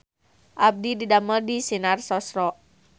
Abdi didamel di Sinar Sosro